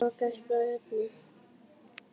Loks Bragi einn.